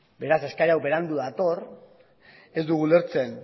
beraz eskari hau berandu dator ez dugu ulertzen